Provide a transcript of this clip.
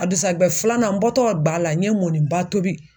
A dukusajɛ filanan n bɔ tɔrɔ ga la n ye mɔniba tobi.